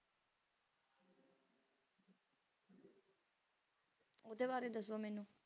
ਉਡਦੇ ਬਾਰੇ ਦੱਸੋ ਮੈਨੂੰ